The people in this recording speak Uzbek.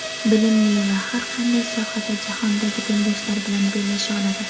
bilimli va har qanday sohada jahondagi tengdoshlari bilan bellasha oladi.